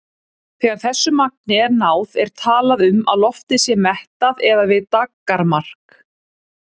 Þegar þessu magni er náð er talað um að loftið sé mettað eða við daggarmark.